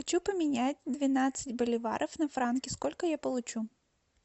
хочу поменять двенадцать боливаров на франки сколько я получу